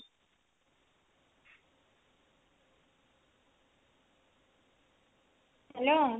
hello